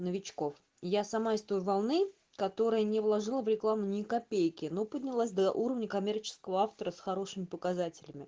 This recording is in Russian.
новичков я сама из той волны которая не выложила в рекламу ни копейки но поднялась до уровня коммерческого автора с хорошими показателями